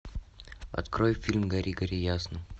открой фильм гори гори ясно